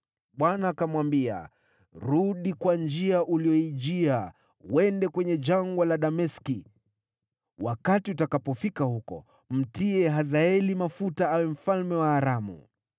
Bwana akamwambia, “Rudi kwa njia uliyoijia, uende kwenye Jangwa la Dameski. Wakati utakapofika huko, mtie Hazaeli mafuta awe mfalme wa Aramu